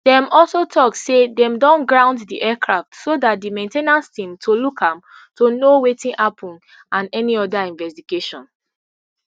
dem also tok say dem don ground di aircraft so dat di main ten ance team to look am to know wetin happun and any oda investigation